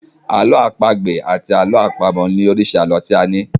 Àlọ́ àpagbè àti àlọ́ àpamọ̀ ni oríṣi àlọ́ tí a ní.